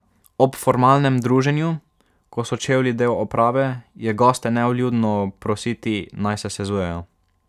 Ob formalnem druženju, ko so čevlji del oprave, je goste nevljudno prositi, naj se sezujejo.